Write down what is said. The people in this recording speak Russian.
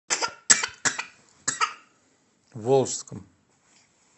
волжском